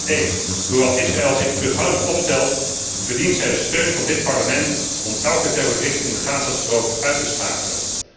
1. Hoewel Israël zich terughoudend opstelt, verdient het de steun van dit Parlement om elke terrorist in de Gaza strook uit te schakelen.